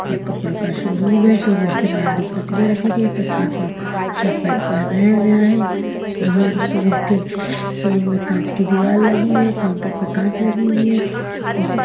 यह कपड़ों का शोरूम है शोरूम के बाहर दो प्रतिमा रखी गई प्रतिमा को शर्ट पैंट पहनाया गया है शोर शोरूम के शोरूम में काँच की दीवार लगी हुई है काउंटर पे काँच लगी हुई है।